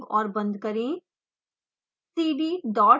file को save और बंद करें